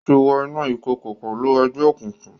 O ti wo inú ìkọkọ pẹlú egbeokunkun